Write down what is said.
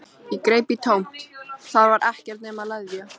Ég greip í tómt, þar var ekkert nema leðja.